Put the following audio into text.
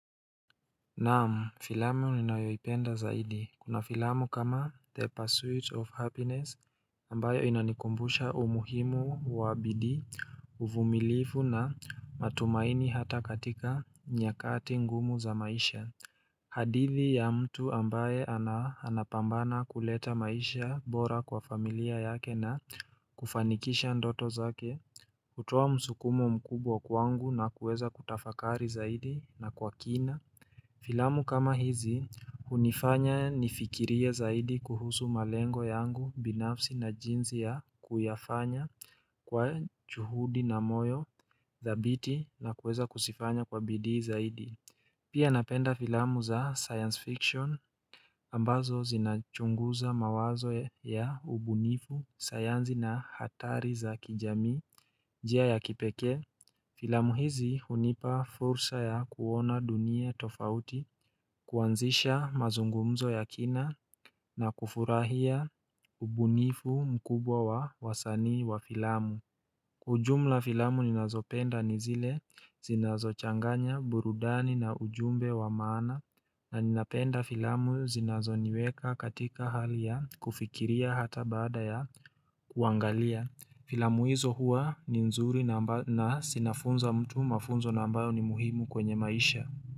Naam filamu ninayo ipenda zaidi kuna filamu kama the pursuit of happiness ambayo inanikumbusha umuhimu wa bidii uvumilivu na matumaini hata katika nyakati ngumu za maisha. Hadithi ya mtu ambae anapambana kuleta maisha bora kwa familia yake na kufanikisha ndoto zake. Kutoa msukumo mkubwa kwangu na kuweza kutafakari zaidi na kwa kina Filamu kama hizi unifanya nifikirie zaidi kuhusu malengo yangu binafsi na jinsi ya kuyafanya kwa juhudi na moyo dhabiti na kuweza kuzifanya kwa bidii zaidi Pia napenda filamu za science fiction ambazo zinachunguza mawazo ya ubunifu, sayansi na hatari za kijamii njia ya kipekee Filamu hizi hunipa fursa ya kuona dunia tofauti, kuanzisha mazungumzo ya kina na kufurahia ubunifu mkubwa wa wasanii wa filamu. Kwa ujumla filamu ninazopenda ni zile zinazo changanya burudani na ujumbe wa maana na ninapenda filamu zinazo niweka katika hali ya kufikiria hata baada ya kuangalia. Filamu hizo hua ni nzuri na zinafunza mtu mafunzo ambayo ni muhimu kwenye maisha.